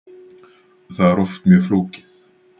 Það er oft mjög flókið.